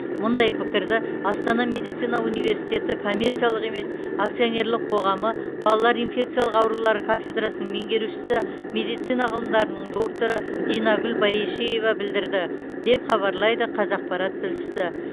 мұндай пікірді астана медицина университеті коммерциялық емес акционерлік қоғамы балалар инфекциялық аурулары кафедрасының меңгерушісі медицина ғылымдарының докторы динагүл баешева білдірді деп хабарлайды қазақпарат тілшісі